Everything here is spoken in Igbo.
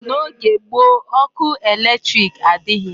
N'oge gboo ọkụ electric adịghị.